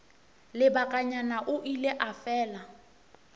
lebakanyana o ile a fela